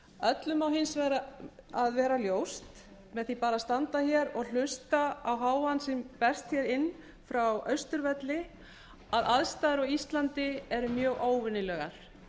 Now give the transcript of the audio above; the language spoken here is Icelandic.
öllum á hins vegar að vera ljóst með því bara að standa hér og hlusta á hávaðann sem berst hér inn frá austurvelli að aðstæður á íslandi eru mjög óvenjulegar